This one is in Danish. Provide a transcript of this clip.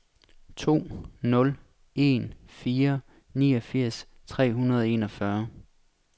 to nul en fire niogfirs tre hundrede og enogfyrre